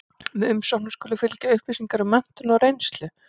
Með umsóknum skulu fylgja upplýsingar um menntun og reynslu.